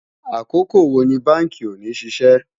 àkókò wò ní bánkì òní ṣiṣẹ